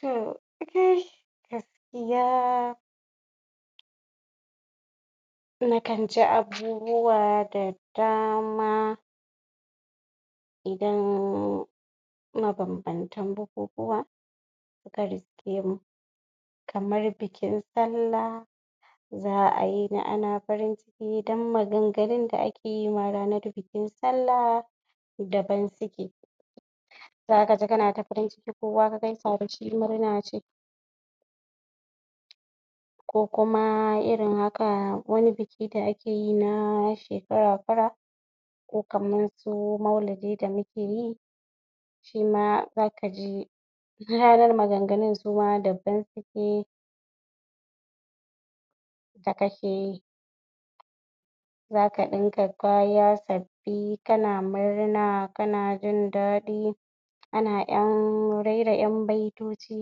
? Gaskiya nakan ji abubuwa da dama idan mabambantan bukukuwa suka riske mu kamar bikin sallah za a yini ana farin ciki don maganganun da ake yi ma ranar bikin sallah daban suke zaka ji kana ta farin ciki kowa ka gaisa da shi murna ce ko kuma itin haka wani biki da ake yi na shekara shekara ko kaman su maulidi da muke yi shima zaka ji ranar maganganun suma daban suke? zaka ɗinka kaya sabbi kana murna kana jindaɗi an ƴan raira ƴan baitoci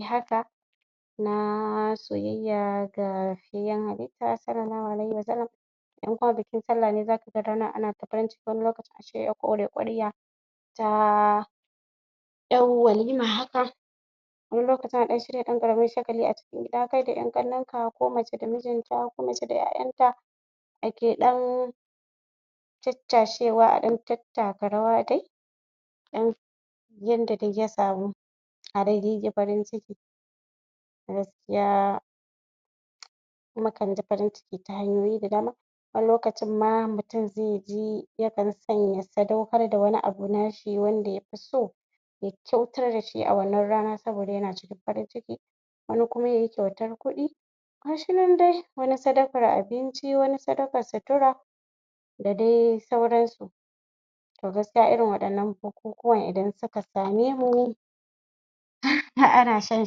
haka na soyayya ga fiyayyen halitta (sallallahu alaihu wa sallam) in kuma bikin sallah ne zakag ga ana ta fari ciki wani lokacin a shirya? ta ƴar walima haka wani lokacin akan shirya ɗan ƙaramin shagali a cikin gida kai da ƴan ƙannenka ko mace da mijin ta ko mace da ƴa ƴanta akea ɗan caccashewa a ɗa tattaka rawa dai a ɗan yanda dai ya samu a dai ji farin ciki gaskiya mukan ji farin ciki ta hanyoyi da dama wani lokacin ma mutum zai ji yakan iya sadaukar da wani abu nashi wanda yafi so ya kyautar da shi a wannan rana don yana cikin farin ciki wani kuma yayi kyautar kuɗi gashinan dai wani sadakar abinci wani sadakar sutura da dai sauransu to gaskiya irin waɗannan bukukuwan idan suka same mu ana shan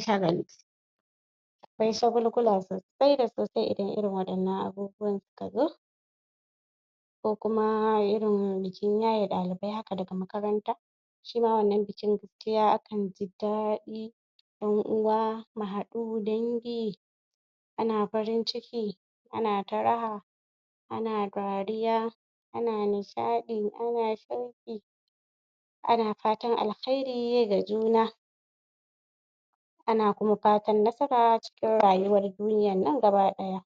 shagali akwai shagulgula sosai da sosai idan irin waɗannan abubuwan suka zo ko kuma irin bikin yaye ɗalibai haka daga makaranta shima wannan bikin gaskiya akan ji dadi ƴan uwa mu haɗu dangi ana farin ciki ana ta raha ana dariya ana nishaɗi ana shauƙi ana fatan alkhairi ga juna ana kuma fatan nasara cikin raywar duniyan nan gaba ɗaya